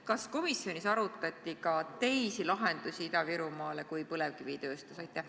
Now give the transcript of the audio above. Kas komisjonis arutati ka teisi lahendusi Ida-Virumaale kui põlevkivitööstus?